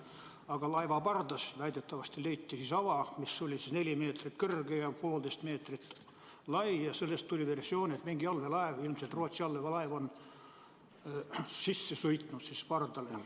Aga laeva pardas väidetavasti leiti ava, mis on neli meetrit kõrge ja poolteist meetrit lai, ja sellest tekkis versioon, et mingi allveelaev, ilmselt Rootsi allveelaev, on pardasse sisse sõitnud.